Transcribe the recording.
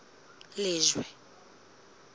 lejwe